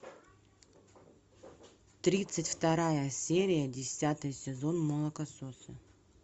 тридцать вторая серия десятый сезон молокососы